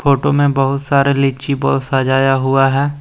Photo में बहुत सारे लीची बॉल सजाया हुआ है।